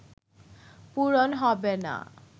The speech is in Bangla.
পূরণ হবে না